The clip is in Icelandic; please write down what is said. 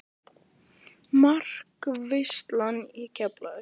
Markaveisla í Keflavík?